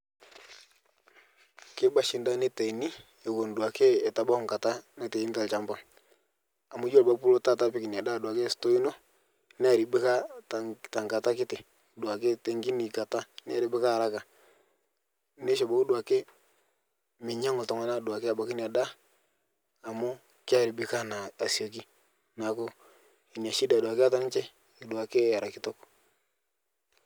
keiba shi ndaa neitaini ewon duake etu ebau nkataa naitaini talshampa amu iyolo abaki pulo taata apik inia daa duake store inoo nearibika tankata kitii duake tenkini kataa nearibika haraka neisho abaki duake minyangu ltungana abaki duake ltungani inia daah amu kearibika naa asiokii naaku inia shida duake eata ninshe duake era kitok